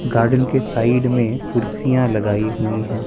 Garden के side में कुर्सियां लगाई हुई हैं।